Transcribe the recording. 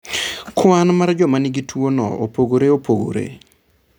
Kwan mar joma nigi tuwono opogore opogore.